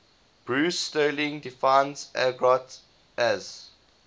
bruce sterling defines argot as